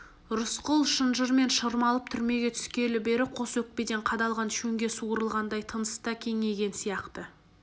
рысқұл шынжырмен шырмалып түрмеге түскелі бері қос өкпеден қадалған шөңге суырылғандай тыныс та кеңейген сияқты